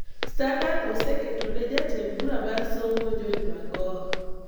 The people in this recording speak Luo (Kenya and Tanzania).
Standard oseketo ni Jatend Bura mar Somo George Magoha